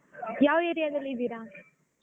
ಯಾವ್ area ದಲ್ಲಿ ಇದ್ದೀರಾ?